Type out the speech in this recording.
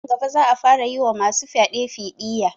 Nan gaba za a fara yi wa ma su fyaɗe fiɗiya